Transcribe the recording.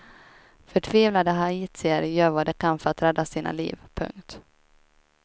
Förtvivlade haitier gör vad de kan för att rädda sina liv. punkt